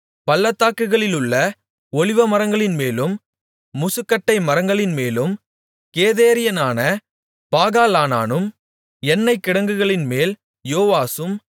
பள்ளத்தாக்குகளிலுள்ள ஒலிவமரங்களின்மேலும் முசுக்கட்டை மரங்களின்மேலும் கெதேரியனான பாகாலானானும் எண்ணெய் கிடங்குகளின்மேல் யோவாசும்